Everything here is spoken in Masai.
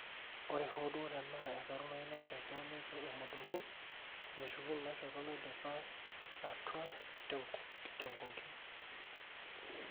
ore hoo duo tenaa esarunoyu ina shoto neitu emodoku, meshuku inashoto naidipa atua tenkong'i